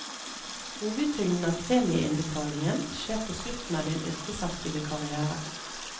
Hovedtyngden av premieinnbetalingen skjer på slutten av din yrkesaktive karriere.